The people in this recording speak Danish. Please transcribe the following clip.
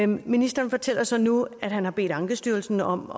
ministeren fortæller så nu at han har bedt ankestyrelsen om